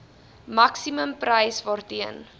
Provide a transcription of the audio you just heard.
maksimum prys waarteen